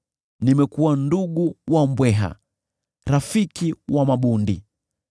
Nimekuwa ndugu wa mbweha, rafiki wa mabundi.